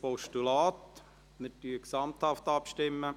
Wir stimmen gesamthaft ab.